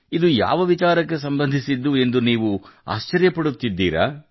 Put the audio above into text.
ಇದು ಯಾವ ವಿಚಾರಕ್ಕೆ ಸಂಬಂಧಿಸಿದ್ದು ಎಂದು ನೀವು ಆಶ್ಚರ್ಯಪಡುತ್ತಿದ್ದೀರಾ